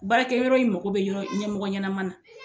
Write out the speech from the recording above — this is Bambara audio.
Baarakɛyɔrɔ in mako bɛ yɔrɔ ɲɛmɔgɔ ɲɛnama na.